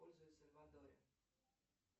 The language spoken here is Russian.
пользуется водой